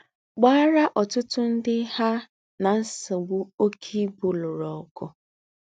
Gbàárá ọ̀tútú ndí́ há nà ńsògbú óké íbú lùrù ọ̀gụ̀